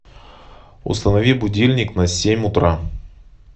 установи будильник на семь утра